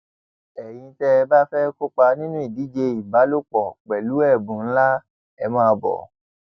ẹyin tẹ ẹ bá fẹẹ kópa nínú ìdíje ìbálòpọ pẹlú ẹbùn ńlá ẹ máa bò ó